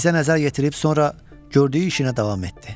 Bizə nəzər yetirib sonra gördüyü işinə davam etdi.